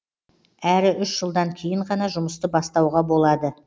әрі үш жылдан кейін ғана жұмысты бастауға болады